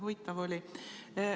Huvitav oli.